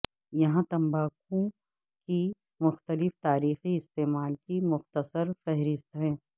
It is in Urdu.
یہاں تمباکو کے مختلف تاریخی استعمال کی مختصر فہرست ہے